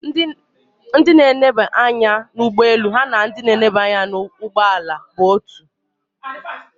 Ndị na eneba anya na ie ụgbọeelu ha na enye na anya ụgbọeelu bụ otu